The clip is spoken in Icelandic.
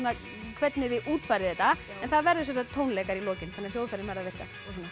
hvernig þið útfærið þetta en það verða tónleikar í lokin þannig að hljóðfærin verða að virka